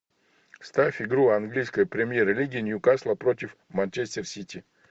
ставь игру английской премьер лиги ньюкасла против манчестер сити